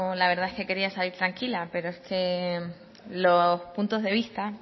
la verdad es que quería salir tranquila pero es que los puntos de vista